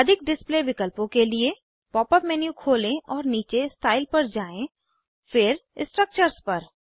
अधिक डिस्प्ले विकल्पों के लिए पॉप अप मेन्यू खोलें और नीचे स्टाइल पर जाएँ फिर स्ट्रक्चर्स पर